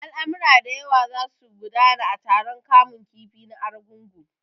Al'amura da yawa za su gudana a taron kamun kifi na Argungu.